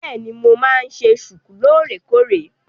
Bẹ́èni, mo máa ń ṣe ṣùkú lóòrèkóòrè.